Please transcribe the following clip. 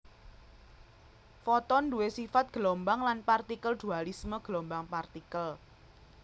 Foton duwé sifat gelombang lan partikel dualisme gelombang partikel